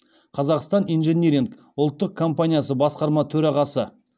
қазақстан инжиниринг ұлттық компаниясы басқарма төрағасы